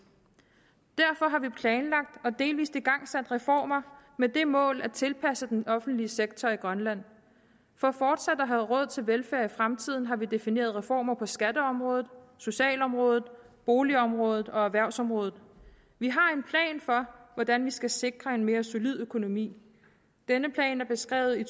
derfor har vi planlagt og delvis igangsat reformer med det mål at tilpasse den offentlige sektor i grønland for fortsat at have råd til velfærd i fremtiden har vi defineret reformer på skatteområdet socialområdet boligområdet og erhvervsområdet vi har en plan for hvordan vi skal sikre en mere solid økonomi denne plan er beskrevet i